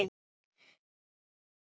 Helga: Var þetta ekki kalt?